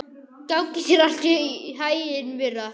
Gangi þér allt í haginn, Myrra.